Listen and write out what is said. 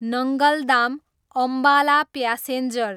Nangal dam, Ambala passenger